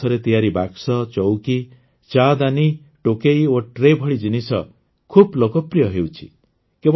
ବାଉଁଶରେ ତିଆରି ବାକ୍ସ ଚଉକି ଚାଦାନି ଟୋକେଇ ଓ ଟ୍ରେ ଭଳି ଜିନିଷ ଖୁବ୍ ଲୋକପ୍ରିୟ ହେଉଛି